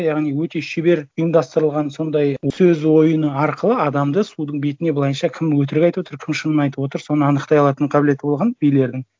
яғни өте шебер ұйымдастырылған сондай сөз ойыны арқылы адамды судың бетіне былайынша кім өтірік айтып отыр кім шынын айтып отыр соны анықтай алатын қабілеті болған билердің